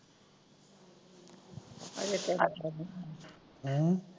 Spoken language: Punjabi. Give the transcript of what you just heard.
ਹੈਂ